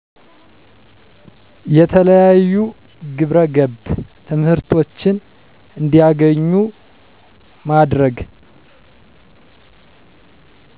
የተለያዩ ግብረገብ ትምህርቶችን እንዲያገኙ ማድረግ